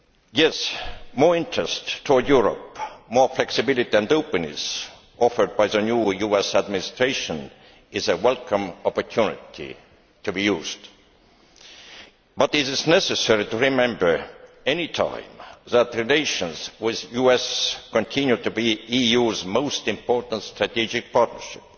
Yes, more interest towards Europe, more flexibility and openness offered by the new US Administration is a welcome opportunity to be used. But it is necessary to remember at any time that relations with the US continue to be the EU's most important strategic partnership.